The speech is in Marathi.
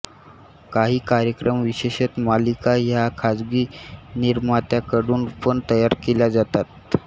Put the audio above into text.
काही कार्यक्रम विशेषतः मालिका ह्या खाजगी निर्मात्यांकडून पण तयार केल्या जातात